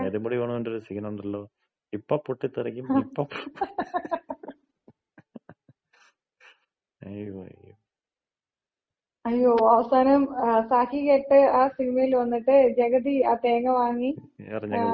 നെടുമുടി വേണുന്‍റെ ഒര് സീൻ ഒണ്ടല്ലോ, ഇപ്പൊ പൊട്ടിത്തെറിക്കും ഇപ്പോ അയ്യോ, ആയ്യോ, അയ്യോ. അവസാനം സഹികെട്ട് ആ സിനിമയില് വന്നിട്ട് ജഗതി ആ തേങ്ങ വാങ്ങി, എറിഞ്ഞങ്ങ് പൊട്ടിച്ച്.